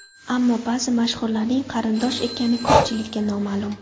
Ammo ba’zi mashhurlarning qarindosh ekani ko‘pchilikka noma’lum.